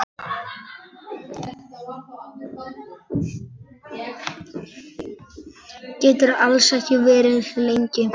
Geturðu alls ekki verið lengur?